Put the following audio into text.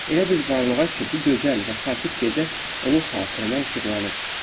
Elə bir varlığa ki, bu gözəl və sakit gecə onun xatirinə işıqlanıb.